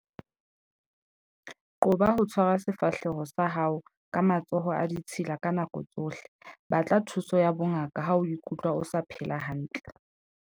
Qoba ho tshwara sefahleho sa hao ka matsoho a ditshila ka nako tsohle. Batla thuso ya bongaka ha o ikutlwa o sa phela hantle.